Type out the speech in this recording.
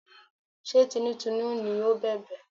Ṣé tinútinú ni ó bẹ̀bẹ̀?